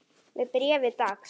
Með bréfi dags.